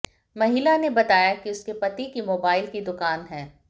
महिला ने बताया कि उसके पति की मोबाइल की दुकान है